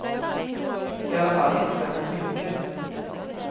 I alla fall inte särskilt mycket.